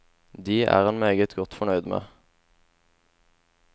De er han meget godt fornøyd med.